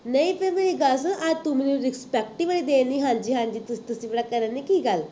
ਨਹੀਂ ਫੇਰ ਮੇਰੀ ਗੱਲ ਸੁਣ, ਅੱਜ ਤੂੰ ਮੈਨੂੰ respect ਹੀ ਬੜੀ ਦੇਣ ਦੀ ਹਾਂਜੀ ਹਾਂਜੀ ਕਰਨ ੜੀ ਕੀ ਗੱਲ